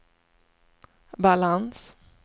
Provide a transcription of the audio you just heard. balans